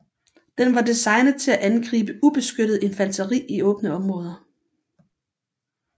Den var designet til at angribe ubeskyttet infanteri i åbne områder